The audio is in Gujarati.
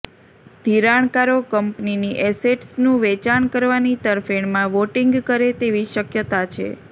ધિરાણકારો કંપનીની એસેટ્સનું વેચાણ કરવાની તરફેણમાં વોટિંગ કરે તેવી શક્યતા છે